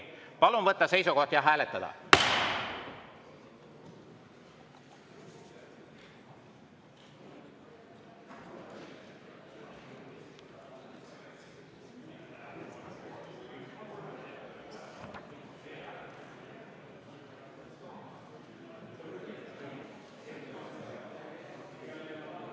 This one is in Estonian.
Palun võtta seisukoht ja hääletada!